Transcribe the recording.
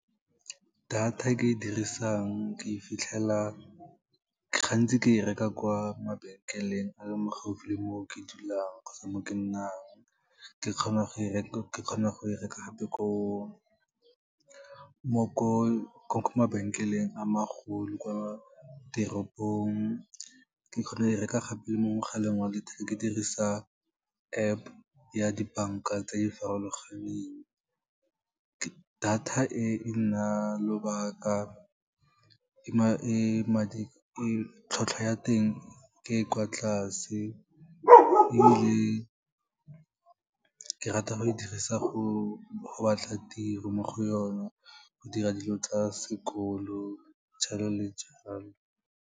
Data e ke e dirisang gantsi ke e reka kwa mabenkeleng a le mo gaufi le mo ke dulang kgotsa mo ke nnang, ke kgona go e reka gape ko mabenkeleng a magolo kwa teropong, ke kgona go e reka gape mo mogaleng wa letheka, ke dirisa App ya dibanka tse di farologaneng. Data e, e nna lobaka tlhotlhwa ya teng ke e kwa tlase, ebile ke rata go e dirisa go batla tiro mo go yona, go dira dilo tsa sekolo, go tshwana le jalo.